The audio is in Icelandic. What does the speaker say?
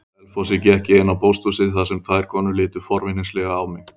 Á Selfossi gekk ég inn á pósthúsið þar sem tvær konur litu forvitnislega á mig.